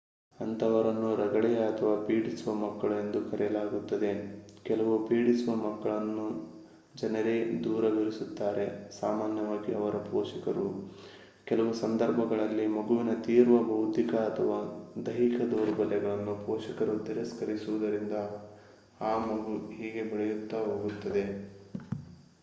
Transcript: ಅಂತಹವರನ್ನು ರಗಳೆಯ ಅಥವಾ ಪೀಡಿಸುವ ಮಕ್ಕಳು ಎಂದು ಕರೆಯಲಾಗುತ್ತದೆ. ಕೆಲವು ಪೀಡಿಸುವ ಮಕ್ಕಳನ್ನು ಜನರೇ ದೂರವಿರಿಸುತ್ತಾರೆ ಸಾಮಾನ್ಯವಾಗಿ ಅವರ ಪೋಷಕರು; ಕೆಲವು ಸಂದರ್ಭಗಳಲ್ಲಿ ಮಗುವಿನ ತೀವ್ರ ಬೌದ್ಧಿಕ ಅಥವಾ ದೈಹಿಕ ದೌರ್ಬಲ್ಯವನ್ನು ಪೋಷಕರು ತಿರಸ್ಕರಿಸುವುದರಿಂದ ಆ ಮಗು ಹೀಗೆ ಬೆಳೆಯುತ್ತಾ ಸಾಗುತ್ತದೆ